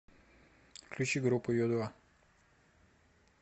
включи группу ю два